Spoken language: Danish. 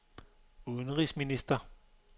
udenrigsminister